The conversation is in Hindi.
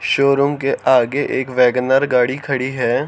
शोरूम के आगे एक वैगन आर गाड़ी खड़ी है।